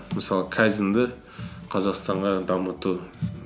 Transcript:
мысалы кайдзенді қазақстанға дамыту